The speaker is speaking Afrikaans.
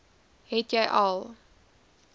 het jy al